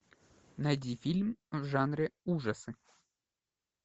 найди фильм в жанре ужасы